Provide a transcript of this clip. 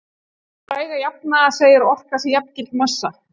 Þessi fræga jafna segir að orka sé jafngild massa.